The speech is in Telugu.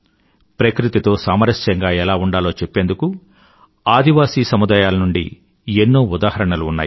ప్రకృతితో సామరస్యంగా ఎలా ఉండాలో చెప్పేందుకు ఆదివాసీ తెగల నుండి ఎన్నో ఉదాహరణలు ఉన్నాయి